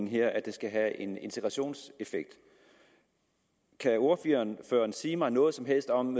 her at det skal have en integrationseffekt kan ordføreren sige mig noget som helst om